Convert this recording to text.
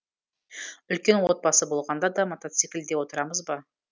үлкен отбасы болғанда да мотоциклде отырамыз ба